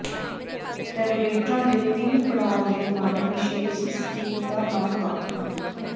ਰੈਗੂਲੇਟਰਾਂ ਦੇ ਤਿੰਨ ਪੜਾਅ ਦੇ ਮਾਡਲ ਵਿਸ਼ੇਸ਼ ਸਟੀਕਤਾ ਨਾਲ ਵੱਖ ਹਨ